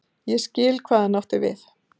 Ég skil hvað hann átti við.